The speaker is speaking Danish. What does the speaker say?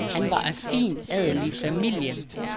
Han var af fin adelig familie.